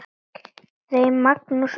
Þeim Magnúsi og